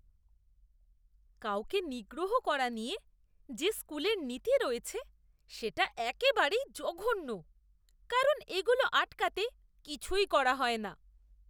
কাউকে নিগ্রহ করা নিয়ে যে স্কুলের নীতি রয়েছে সেটা একেবারেই জঘন্য কারণ এগুলো আটকাতে কিছুই করা হয় না!